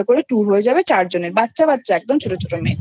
করে টুর হয়ে যাবে চার জনের বাচ্ছা বাচ্ছা একদম ছোট